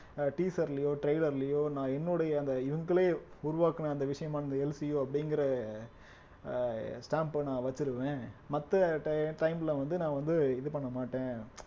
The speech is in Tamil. அஹ் teaser லயோ trailer லயோ நான் என்னுடைய அந்த இவங்களே உருவாக்கின அந்த விஷயமான அந்த எல் சி யு அப்படிங்கற அஹ் stamp அ நான் வெச்சிருவேன் மத்த ti~ time ல வந்து நான் வந்து இது பண்ண மாட்டேன்